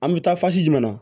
An bɛ taa jumɛn na